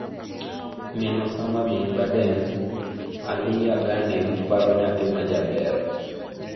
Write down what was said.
Min Osama Bin Laden: Alia Ghanem paro 'nyathi ma jaber'.